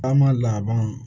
A ma laban